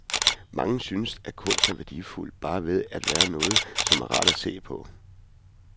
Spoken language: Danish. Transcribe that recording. Mange synes, at kunst er værdifuld bare ved at være noget, som er rart at se på.